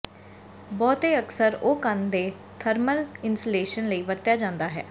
ਬਹੁਤੇ ਅਕਸਰ ਉਹ ਕੰਧ ਦੇ ਥਰਮਲ ਇਨਸੂਲੇਸ਼ਨ ਲਈ ਵਰਤਿਆ ਜਾਦਾ ਹੈ